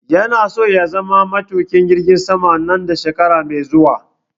yana so ya zama matuƙin jirgin sama nan da shekara mai zuwa